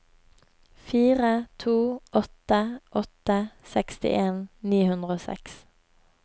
fire to åtte åtte sekstien ni hundre og seks